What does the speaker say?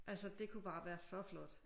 Altså det kunne bare være så flot